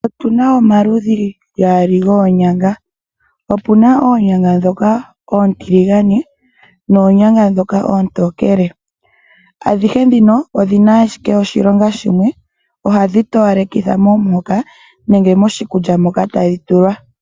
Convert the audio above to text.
Otuna omaludhi gaali goonyanga. Opuna oonyanga ndhoka oontiligane, noonyanga ndhoka oontokele. Adhihe ndhino odhina ashike oshilonga shimwe. Ohadhi towalekitha omuhoka nenge moshikulya moka tadhi tulwa.